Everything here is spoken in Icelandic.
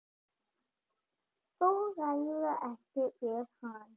Þú ræður ekkert við hann.